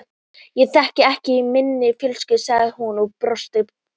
Það þekkist ekki í minni fjölskyldu sagði hún og brosti gleitt.